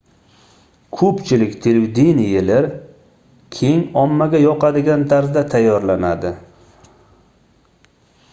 koʻpchilik televideniyelar keng ommaga yoqadigan tarzda tayyorlanadi